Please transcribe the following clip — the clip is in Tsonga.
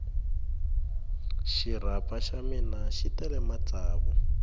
xirapha xa mina xi tele matsavu